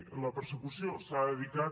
la persecució s’ha dedicat